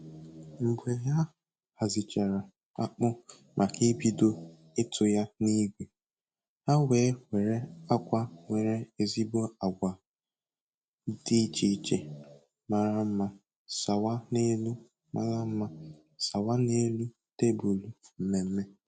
Mgbe a hazichara akpụ maka ibido ịtụ ya n'igwe, ha wee were akwa nwere ezigbo agba dị iche iche mara mma sawa n'elu mma sawa n'elu tebụlụ mmemme